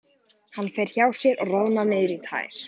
Hann fer hjá sér og roðnar niður í tær.